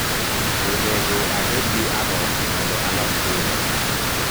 onegoabedgi ago mondo alos pizza